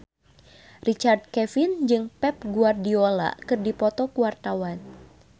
Richard Kevin jeung Pep Guardiola keur dipoto ku wartawan